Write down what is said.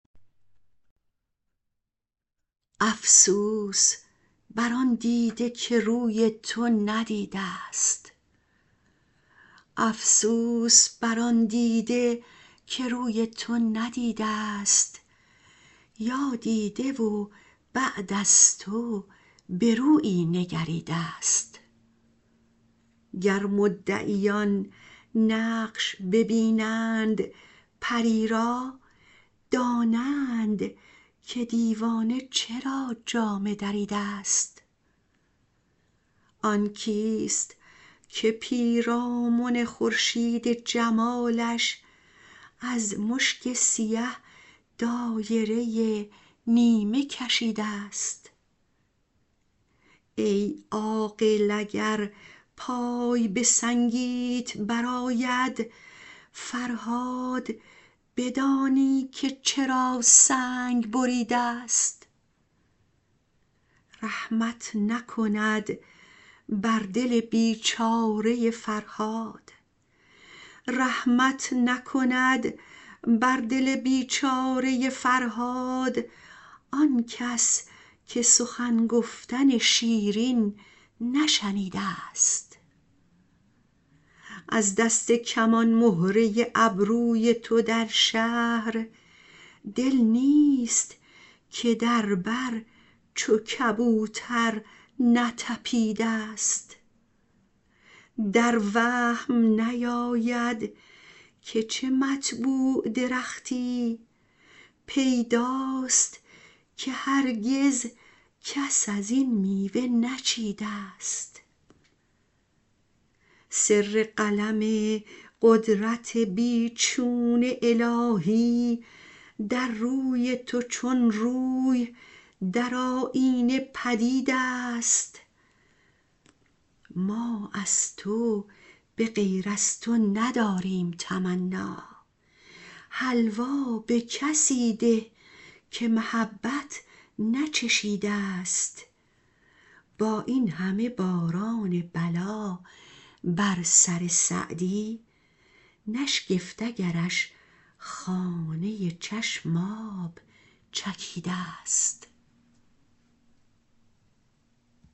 افسوس بر آن دیده که روی تو ندیده ست یا دیده و بعد از تو به رویی نگریده ست گر مدعیان نقش ببینند پری را دانند که دیوانه چرا جامه دریده ست آن کیست که پیرامن خورشید جمالش از مشک سیه دایره نیمه کشیده ست ای عاقل اگر پای به سنگیت برآید فرهاد بدانی که چرا سنگ بریده ست رحمت نکند بر دل بیچاره فرهاد آنکس که سخن گفتن شیرین نشنیده ست از دست کمان مهره ابروی تو در شهر دل نیست که در بر چو کبوتر نتپیده ست در وهم نیاید که چه مطبوع درختی پیداست که هرگز کس از این میوه نچیده ست سر قلم قدرت بی چون الهی در روی تو چون روی در آیینه پدید است ما از تو به غیر از تو نداریم تمنا حلوا به کسی ده که محبت نچشیده ست با این همه باران بلا بر سر سعدی نشگفت اگرش خانه چشم آب چکیده ست